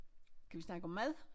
Kan vi snakke om mad?